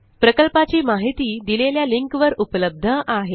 प्रकल्पाची माहिती दिलेल्या लिंकवर उपलब्ध आहे